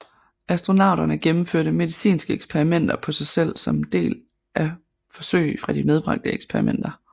Astronauterne gennemførte medicinske eksperimenter på sig selv som en del af forsøg fra de medbragte eksperimenter